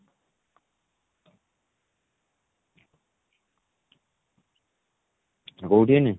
ତୁ କଉଠି ଏଇନେ?